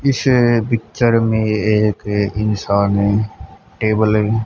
इस पिक्चर में एक इंसान है टेबल है।